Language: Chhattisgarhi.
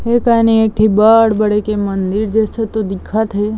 ए कानि एक ठी बड़ बड़के मंदिर जइसे तो दिखत हे।